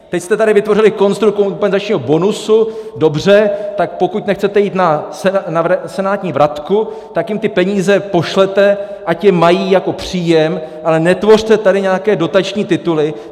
Teď jste tady vytvořili konstrukt kompenzačního bonusu, dobře, tak pokud nechcete jít na senátní vratku, tak jim ty peníze pošlete, ať je mají jako příjem, ale netvořte tady nějaké dotační tituly.